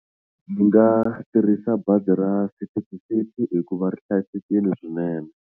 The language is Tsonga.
Ni nga tirhisa bazi ra City-to-City hikuva ri hlayisekile swinene.